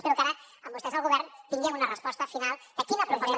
espero que ara amb vostès al govern tinguem una resposta final de quina proposta